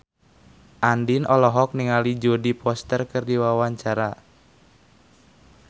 Andien olohok ningali Jodie Foster keur diwawancara